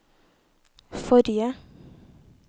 forrige